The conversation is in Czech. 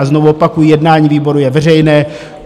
A znovu opakuji, jednání výboru je veřejné.